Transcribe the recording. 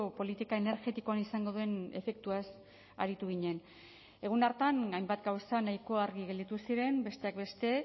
politika energetikoan izango den efektuaz aritu ginen egun hartan hainbat gauza nahiko argi gelditu ziren besteak beste